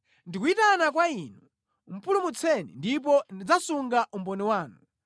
Ndikuyitana kwa Inu; pulumutseni ndipo ndidzasunga umboni wanu.